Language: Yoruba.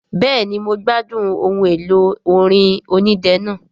Bẹ́ẹ̀ni mo gbádùn ohun èlò orin onídẹ náà